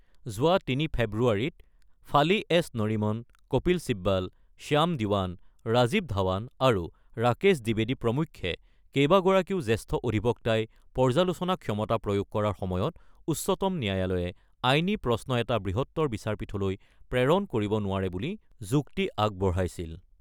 যোৱা ৩ ফেব্ৰুৱাৰীত ফালি এছ নৰিমন, কপিল চিবাল, শ্যাম দীৱান, ৰাজিৱ ধাৱান আৰু ৰাকেশ দ্বীৱেদী প্ৰমুখ্যে কেইবাগৰাকীও জ্যেষ্ঠ অধিবক্তাই পৰ্যালোচনা ক্ষমতা প্ৰয়োগ কৰাৰ সময়ত উচ্চতম ন্যায়ালয়ে আইনী প্ৰশ্ন এটা বৃহত্তৰ বিচাৰপীঠলৈ প্ৰেৰণ কৰিব নোৱাৰে বুলি যুক্তি আগবঢ়াইছিল।